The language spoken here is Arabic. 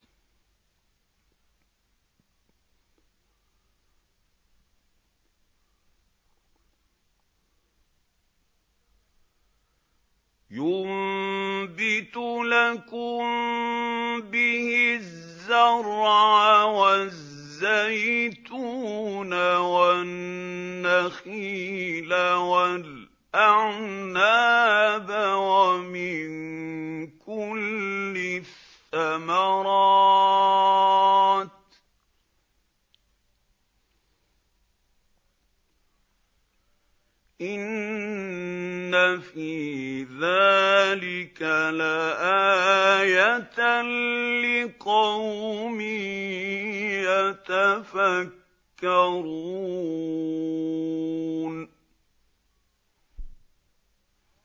يُنبِتُ لَكُم بِهِ الزَّرْعَ وَالزَّيْتُونَ وَالنَّخِيلَ وَالْأَعْنَابَ وَمِن كُلِّ الثَّمَرَاتِ ۗ إِنَّ فِي ذَٰلِكَ لَآيَةً لِّقَوْمٍ يَتَفَكَّرُونَ